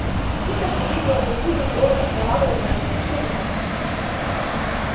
птица приблизила красивую голову к кровавой ране на руке гарри